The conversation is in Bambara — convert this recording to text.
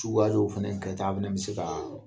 Tugalew fɛnɛ kɛ ta an fɛnɛ bɛ se kaa